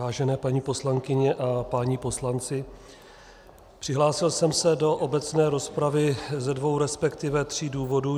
Vážené paní poslankyně a páni poslanci, přihlásil jsem se do obecné rozpravy ze dvou, respektive tří důvodů.